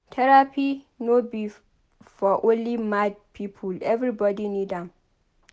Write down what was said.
Therapy no be for only mad pipo everbodi need am.